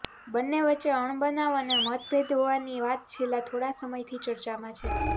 બંને વચ્ચે અણબનાવ અને મતભેદ હોવાની વાત છેલ્લા થોડા સમયથી ચર્ચામાં છે